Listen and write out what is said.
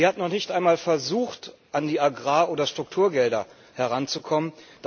Sie hat noch nicht einmal versucht, an die Agrar oder Strukturgelder heranzukommen.